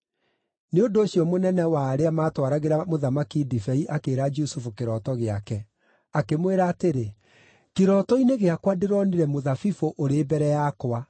Nĩ ũndũ ũcio mũnene wa arĩa maatwaragĩra mũthamaki ndibei akĩĩra Jusufu kĩroto gĩake. Akĩmwĩra atĩrĩ, “Kĩroto-inĩ gĩakwa ndĩronire mũthabibũ ũrĩ mbere yakwa,